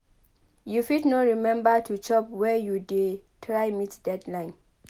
You fit no remember to chop where you dey try meet deadline.